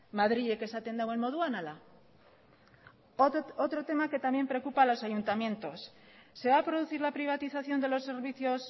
madrilek esaten duen moduan ala otro tema que también preocupa a los ayuntamientos se va a producir la privatización de los servicios